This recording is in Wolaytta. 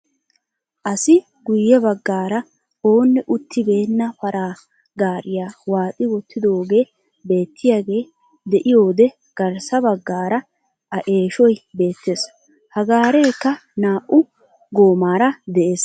Asi guye baggaara oonne uttibenna paraa gariyaa waaxi wottidoogee beettiyaagee de'iyoode garssa baggaara a eeshshoy beettees. ha gaarekka naa"u goomaara de'ees.